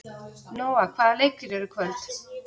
Nóa, hvaða leikir eru í kvöld?